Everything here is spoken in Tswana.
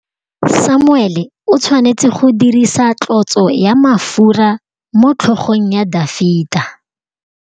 Samuele o tshwanetse go dirisa tlotsô ya mafura motlhôgong ya Dafita.